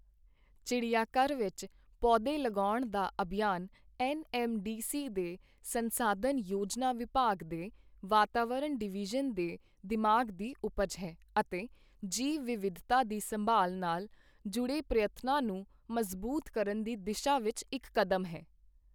ਚਿੜ੍ਹੀਆਘਰ ਵਿੱਚ ਪੌਦੇ ਲਗਾਉਣ ਦਾ ਅਭਿਯਾਨ ਐੱਨ ਐੱਮ ਡੀ ਸੀ ਦੇ ਸੰਸਾਧਨ ਯੋਜਨਾ ਵਿਭਾਗ ਦੇ ਵਾਤਾਵਰਣ ਡਿਵੀਜ਼ਨ ਦੇ ਦਿਮਾਗ਼ ਦੀ ਉਪਜ ਹੈ ਅਤੇ ਜੀਵ ਵਿਵਿਧਤਾ ਦੀ ਸੰਭਾਲ਼ ਨਾਲ ਜੁੜੇ ਪ੍ਰਯਤਨਾਂ ਨੂੰ ਮਜ਼ਬੂਤ ਕਰਨ ਦੀ ਦਿਸ਼ਾ ਵਿੱਚ ਇੱਕ ਕਦਮ ਹੈ।